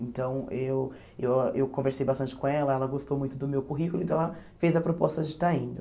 Então, eu eu eu conversei bastante com ela, ela gostou muito do meu currículo, então ela fez a proposta de estar indo.